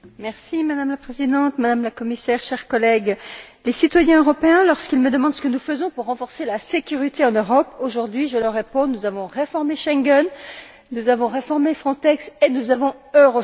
Madame la Présidente, Madame la Commissaire, chers collègues, aux citoyens européens, lorsqu'ils me demandent ce que nous faisons pour renforcer la sécurité en Europe aujourd'hui, je réponds Nous avons réformé Schengen, nous avons réformé Frontex et nous avons Eurosur.